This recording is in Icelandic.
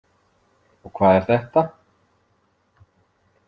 Og hvað er þetta?